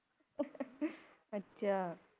ਅੱਛਾ